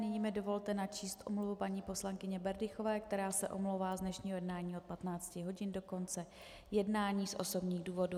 Nyní mi dovolte načíst omluvu paní poslankyně Berdychové, která se omlouvá z dnešního jednání od 15 hodin do konce jednání z osobních důvodů.